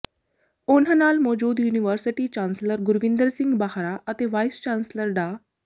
ਉਨ੍ਹਾਂ ਨਾਲ ਮੌਜੂਦ ਯੂਨੀਵਰਸਿਟੀ ਚਾਂਸਲਰ ਗੁਰਵਿੰਦਰ ਸਿੰਘ ਬਾਹਰਾ ਅਤੇ ਵਾਈਸ ਚਾਂਸਲਰ ਡਾ